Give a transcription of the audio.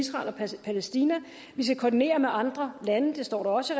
israel og palæstina vi skal koordinere med andre lande det står der også